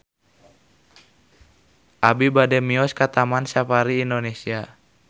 Abi bade mios ka Taman Safari Indonesia